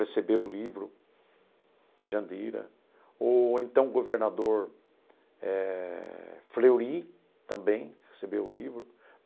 recebeu o livro de Jandira, ou então o governador eh Fleury também recebeu o livro.